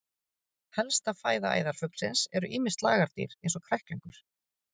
Helsta fæða æðarfuglsins eru ýmis lagardýr eins og kræklingur.